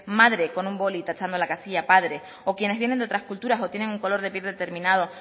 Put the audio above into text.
madre con un boli tachando la casilla padre o quienes vienen de otras culturas o tienen un color de piel determinado